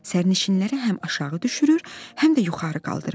Sərnişinləri həm aşağı düşürür, həm də yuxarı qaldırır.